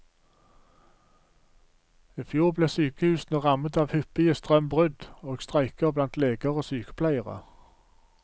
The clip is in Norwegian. I fjor ble sykehusene rammet av hyppige strømbrudd og streiker blant leger og sykepleiere.